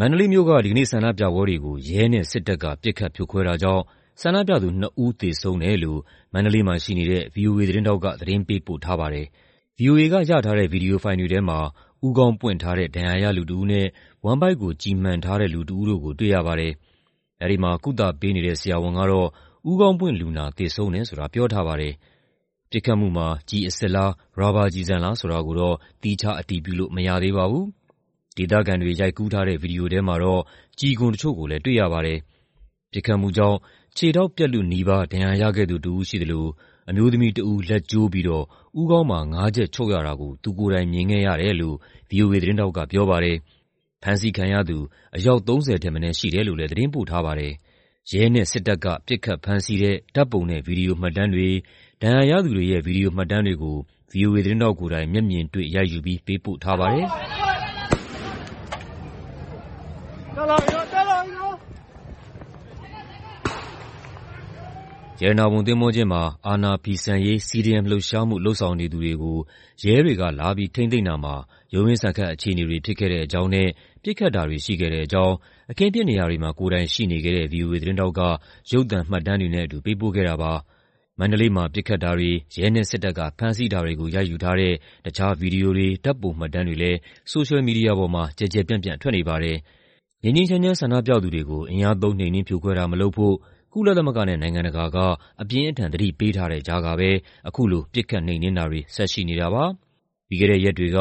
မန္တလေးမြို့က ဒီကနေ့ဆန္ဒပြပွဲတွေကို ရဲနဲ့စစ်တပ်က ပစ်ခတ်ဖြိုခွဲတာကြောင့် ဆန္ဒပြသူ ၂ ဦး သေဆုံးတယ်လို့ မန္တလေးမှာရှိနေတဲ့ ဗွီအိုအေသတင်းထောက်က သတင်းပေးပို့ထားပါတယ်။ ဗွီအိုအေက ရထားတဲ့ ဗွီဒီယိုဖိုင်တွေထဲမှာ ဦးခေါင်းပွင့်ထားတဲ့ ဒဏ်ရာရ လူတဦးနဲ့ ဝမ်းဗိုက်ကို ကျည်မှန်ထားတဲ့ လူတဦးတို့ကို တွေ့ရပါတယ်။ အဲဒီမှာ ကုသပေးနေတဲ့ ဆရာဝန်တဦးကတော့ ဦးခေါင်းပွင့်လူနာ သေဆုံးတယ်ဆိုတာ ပြောထားပါတယ်။ ပစ်ခတ်မှုမှာ ကျည်အစစ်လား ရာဘာကျည်ဆန်လား ဆိုတာကိုတော့ သီးခြားအတည်ပြုလို့ မရသေးပါဘူး။ ဒေသခံတွေ ရိုက်ကူးထားတဲ့ ဗွီဒီယိုထဲမှာတော့ ကျည်ခွံတချို့ကိုလည်း တွေ့ရပါတယ်။ ပစ်ခတ်မှုကြောင့် ခြေထောက်ပြတ်လုနီးပါး ဒဏ်ရာရခဲ့သူတဦး ရှိသလို အမျိုးသမီးတဦး လက်ကျိုးပြီးတော့ ဦးခေါင်းမှာ ၅ ချက် ချုပ်ရတာကို သူကိုယ်တိုင်မြင်ခဲ့ရတယ်လို့ ဗွီအိုအေသတင်းထောက်က ပြောပါတယ်။ ဖမ်းဆီးခံရသူ အယောက် ၃၀ ထက်မနည်း ရှိတယ်လို့လည်း သတင်းပို့ထားပါတယ်။ ရဲနဲ့တပ်က ပစ်ခတ်ဖမ်းဆီးတဲ့ ဓာတ်ပုံနဲ့ ဗွီဒီယိုမှတ်တမ်းတွေ၊ ဒဏ်ရာရသူတွေရဲ့ ဗွီဒီယိုမှတ်တမ်းတွေကို ဗွီအိုအေသတင်းထောက်ကိုယ်တိုင် မျက်မြင်တွေ့ ရိုက်ယူပြီး ပေးပို့ထားပါတယ်။ ရတနာပုံသင်္ဘောကျင်းမှာ အာဏာဖီဆန်ရေး CDM လှုပ်ရှားမှု လုပ်ဆောင်နေသူတွေကို ရဲတွေက လာပြီး ထိန်းသိမ်းတာမှာ ရုန်းရင်းဆန်ခတ် အခြေအနေတွေ ဖြစ်ခဲ့တဲ့အကြောင်းနဲ့ ပစ်ခတ်တာတွေရှိခဲ့တဲ့အကြောင်း အခင်းဖြစ်နေရာတွေမှာ ကိုယ်တိုင်ရှိနေခဲ့ဲတဲ့ ဗွီအိုအေသတင်းထောက်က ရုပ်သံမှတ်တမ်းတွေနဲ့အတူ ပေးပို့ခဲ့ပါတယ်။ ပစ်ခတ်တာတွေ၊ ရဲနဲ့ စစ်တပ်က ဖမ်းဆီးတာတွေကို ရိုက်ယူထားတဲ့ တခြား ဗွီဒီယိုတွေ၊ ဓာတ်ပုံမှတ်တမ်းတွေလည်း ဆိုရှယ်မီဒီယာပေါ်မှာ ကျယ်ကျယ်ပျံ့ပျံ့ထွက်နေပါတယ်။ ငြိမ်းငြိမ်းချမ်းချမ်း ဆန္ဒပြသူတွေကို အင်အားသုံး နှိမ်နင်းဖြိုခွဲတာမလုပ်ဖို့ ကုလသမဂ္ဂနဲ့ နိုင်ငံတကာက အပြင်းအထန် သတိပေးထားတဲ့ကြားကပဲ အခုလို ပစ်ခတ်နှိမ်နင်းတာတွေ ဆက်ရှိနေတာပါ။ ပြီးခဲ့တဲ့ရက်တွေက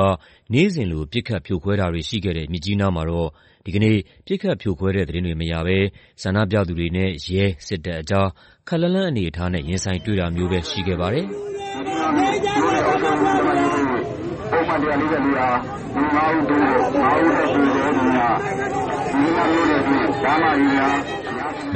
နေ့စဉ်လို ပစ်ခတ်ဖြိုခွဲတာတွေရှိခဲ့တဲ့ မြစ်ကြီးနားမှာတော့ ဒီကနေ့ ပစ်ခတ်ဖြိုခွဲတဲ့သတင်းတွေ မရဘဲ ဆန္ဒပြသူတွေနဲ့ ရဲ၊ စစ်တပ်ကြား ခပ်လှမ်းလှမ်းအနေအထားနဲ့ ရင်ဆိုင်တွေ့တာမျိုးပဲရှိခဲ့ပါတယ်။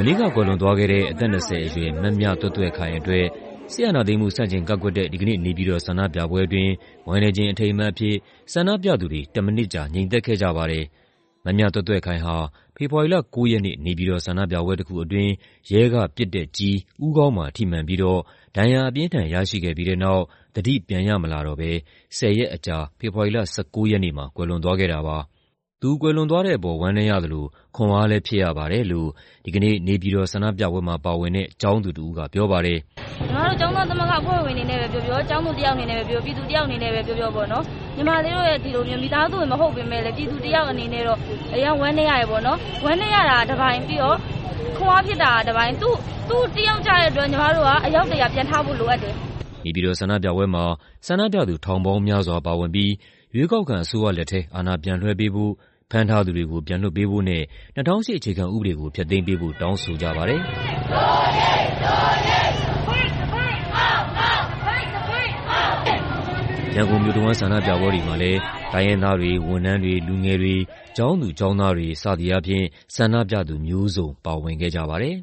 မနေ့ကကွယ်လွန်သွားခဲ့တဲ့ အသက် ၂၀ အရွယ် မမြသွဲ့သွဲ့ခိုင်အတွက် စစ်အာဏာသိမ်းမှု ဆန့်ကျင်ကန့်ကွက်တဲ့ ဒီကနေ့ နေပြည်တော်ဆန္ဒပြပွဲအတွင်း ဝမ်းနည်းခြင်း အထိမ်းအမှတ်အဖြစ် ဆန္ဒပြသူတွေ ၁ မိနစ်ကြာ ငြိမ်သက်ခဲ့ကြပါတယ်။ မမြသွဲ့သွဲ့ခိုင်ဟာ ဖေဖော်ဝါရီလ ၉ ရက်နေ့ နေပြည်တော် ဆန္ဒပြပွဲတခုအတွင်း ရဲကပစ်တဲ့ကျည် ဦးခေါင်းမှာ ထိမှန်ပြီးတော့ ဒဏ်ရာအပြင်းအထန် ရရှိခဲ့ပြီးတဲ့နောက် သတိပြန်ရမလာတော့ဘဲ ၁၀ ရက်အကြာ ဖေဖော်ဝါရီလ ၁၉ ရက်နေ့မှာ ကွယ်လွန်သွားခဲ့တာပါ။ သူကွယ်လွန်သွားတဲ့အပေါ် ဝမ်းနည်းရသလို ခွန်အားလည်း ဖြစ်ရပါတယ်လို့ ဒီကနေ့ နေပြည်တော်ဆန္ဒပြပွဲမှာ ပါဝင်တဲ့ ကျောင်းသူတဦးက ပြောပါတယ်။ “ညီမတို့ ကျောင်းသားသမဂ္ဂ အဖွဲ့ဝင်အနေနဲ့ပဲ ပြောပြော၊ ကျောင်းသူတယောက် အနေနဲ့ပဲ ပြောပြော၊ ပြည်သူတယောက်အနေနဲ့ပဲ ပြောပြော ညီမလေးတို့ရဲ့ မိသားစုဝင် မဟုတ်ပေမယ့်လည်း ပြည်သူတယောက် အနေနဲ့တော့ အရမ်းဝမ်းနည်းရတယ်။ ဝမ်းနည်းရတာက တပိုင်း၊ ပြီးတော့ ခွန်အားဖြစ်တာက တပိုင်း၊ သူတယောက် ကျတဲ့အတွက် ညီမတို့က အယောက် ၁၀၀ ပြန်ထဖို့ လိုအပ်တယ်။” နေပြည်တော်ဆန္ဒပြပွဲမှာ ဆန္ဒပြသူ ထောင်ပေါင်းများစွာပါဝင်ပြီး ရွေးကောက်ခံအစိုးရလက်ထဲ အာဏာပြန်လွှဲပေးဖို့၊ ဖမ်းထားသူတွေကို ပြန်လွှတ်ပေးဖို့နဲ့ ၂၀၀၈ အခြေခံဥပဒေကို ဖျက်သိမ်းပေးဖို့ တောင်းဆိုကြပါတယ်။ ရန်ကုန်မြို့တဝန်း ဆန္ဒပြပွဲတွေမှာလည်း တိုင်းရင်းသားတွေ၊ ဝန်ထမ်းတွေ၊ လူငယ်တွေ၊ ကျောင်းသူကျောင်းသားတွေ စသည်အားဖြင့် ဆန္ဒပြသူမျိုးစုံ ပါဝင်ခဲ့ကြပါတယ်